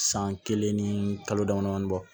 San kelen ni kalo dama damani bɔ